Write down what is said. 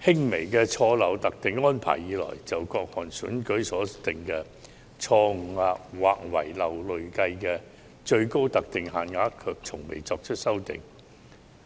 下的輕微錯漏特定安排以來，從未就各項選舉所訂的錯誤或遺漏累計最高特定限額作出修訂。